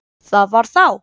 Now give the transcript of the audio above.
Það var þá!